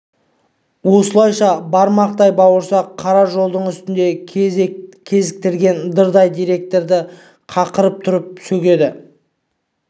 осылайша бармақтай бауырсақ қара жолдың үстінде кезіктірген дырдай директорды қақыратып тұрып сөгеді